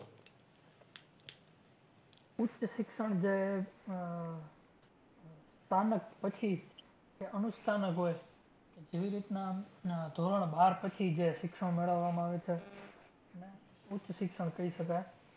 ઉચ્ચ શિક્ષણ જે આહ સ્થાનક પછી કે અનુસ્તાનક હોય જેવી રીતના ધોરણ બાર પછી જે શિક્ષણ મેળવવામાં આવે છે એને ઉચ્ચ શિક્ષણ કહી શકાય.